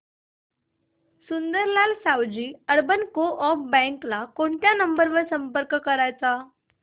Sundarlal Savji urban coop bank ला कोणत्या number वर संपर्क करायचा